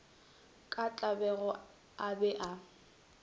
ka tlabego a be a